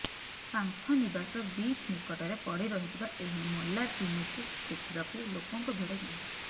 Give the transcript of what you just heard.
Pantha Nivas beach ନିକଟରେ ପଡି ରହିଥିବା ଏହି ମଲା ତିମିକୁ ଦେଖିବାକୁ ଲୋକଙ୍କ ଭିଡ ଜମିଛି